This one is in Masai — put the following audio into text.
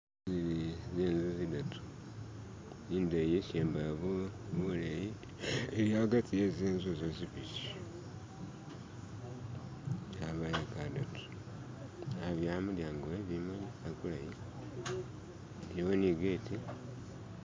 zili zinzu zidatu indeyi ishembayo buleyi iliagati wezinzu zo zibili yaba yekadatu abyala mulyango webimuli akulayi liwo nibitu